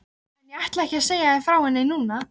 En ég ætla ekki að segja þér frá henni núna.